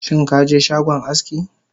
Shinkaje shagon aski?